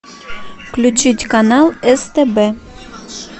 включить канал стб